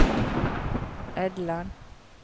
Edland